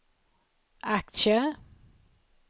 aktier